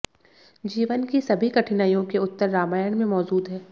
जीवन की सभी कठिनाइयों के उत्तर रामायण में मौजूद हैं